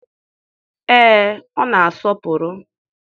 ee, ọ na-asọpụrụ.